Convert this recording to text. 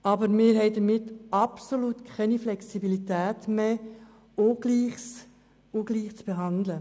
Aber wir haben damit absolut keine Flexibilität mehr, um Ungleiches ungleich zu behandeln.